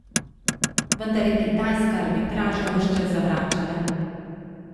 Vendar je Kitajska arbitražo ves čas zavračala.